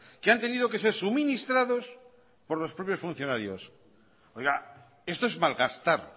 que han tenido que ser suministrados por los propios funcionarios oiga esto es malgastar